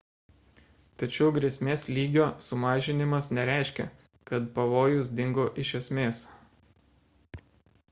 tačiau grėsmės lygio sumažinimas nereiškia kad pavojus dingo iš esmės